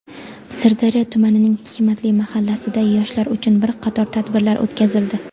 Sirdaryo tumanining "Hikmatli" mahallasida yoshlar uchun bir qator tadbirlar o‘tkazildi.